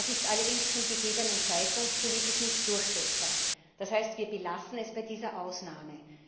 Das ist allerdings zum gegebenen Zeitpunkt politisch nicht durchsetzbar. Das heißt, wir belassen es bei dieser Ausnahme.